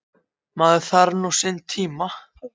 Maður þarf nú sinn tíma.